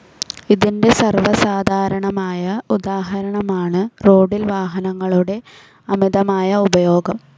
ഇതിന്റെ സർവസാധാരണമായ ഉദാഹരണമാണു റോഡിൽ വാഹനങ്ങളുടെ അമിതമായ ഉപയോഗം.